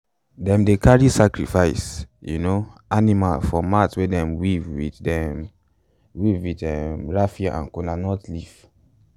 them dey carry sacrifice um animal for mat wey them weave with them weave with um raffia and kola nut leaf.